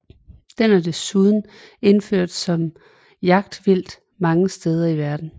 Den er desuden indført som jagtvildt mange steder i verden